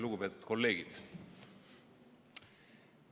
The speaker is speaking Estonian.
Lugupeetud kolleegid!